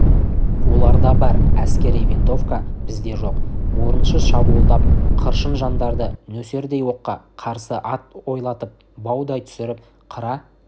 оларда бар әскери винтовка бізде жоқ орынсыз шабуылдап қыршын жандарды нөсердей оққа қарсы ат ойлатып баудай түсіріп қыра